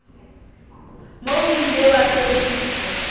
moo o ile wa sebediswa